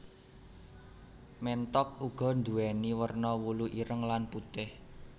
Ménthok uga nduwèni werna wulu ireng lan putih